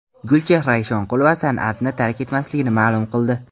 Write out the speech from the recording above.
Gulchehra Eshonqulova san’atni tark etmasligini ma’lum qildi.